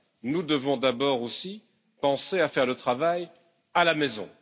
nous devons d'abord aussi penser à faire le travail à la maison.